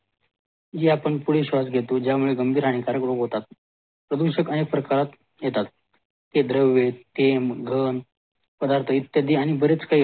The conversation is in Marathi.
जे आपण पुढील श्वास घेतो ज्या मुळे गंभीर आणि कर्करोग होतात प्रदूषक आणि प्रकार येतात ते द्रव्ये ते गंध पदार्थ आणि इत्यादी बरेच काही